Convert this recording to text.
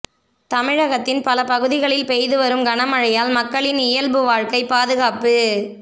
தமிழகத்தின் பல பகுதிகளில் பெய்து வரும் கனமழையால் மக்களின் இயல்பு வாழ்க்கை பாதுகாப்பு